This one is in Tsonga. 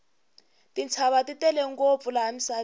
tintshava ti tele ngopfu laha misaveni